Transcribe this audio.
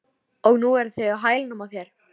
Og nú eru þeir á hælunum á þér